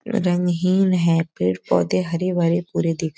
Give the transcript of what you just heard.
रंगहीन है। पेड़-पौधे हरे-भरे पूरे दिख --